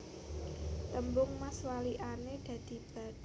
Tambung Mas walikane dadi Dab